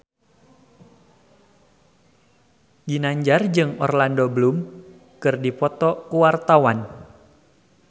Ginanjar jeung Orlando Bloom keur dipoto ku wartawan